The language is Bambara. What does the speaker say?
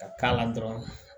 Ka k'a la dɔrɔn